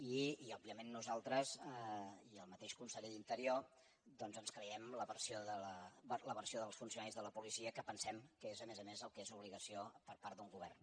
i òbviament nosaltres i el mateix conse·ller d’interior doncs ens creiem la versió dels funcio·naris de la policia que pensem que és a més a més el que és obligació per part d’un govern